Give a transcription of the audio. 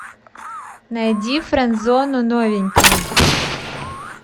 найди френдзону новенькая